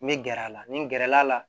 N bɛ gɛrɛ a la nin gɛrɛla la